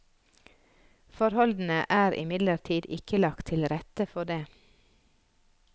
Forholdene er imidlertid ikke lagt til rette for det.